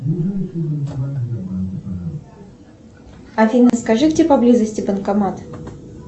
афина скажи где поблизости банкомат